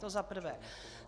To za prvé.